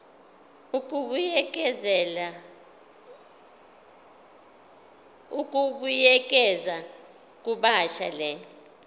ukubuyekeza kabusha le